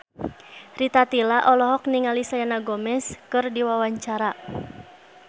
Rita Tila olohok ningali Selena Gomez keur diwawancara